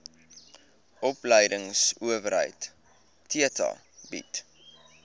opleidingsowerheid theta bied